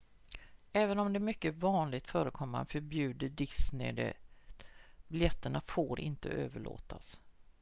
även om det är mycket vanligt förekommande förbjuder disney det biljetterna får inte överlåtas